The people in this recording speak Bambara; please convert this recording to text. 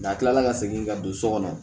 N'a kilala ka segin ka don so kɔnɔ